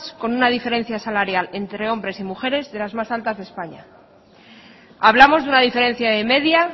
con una diferencia salarial entre hombres y mujeres de las más altas de españa hablamos de una diferencia de media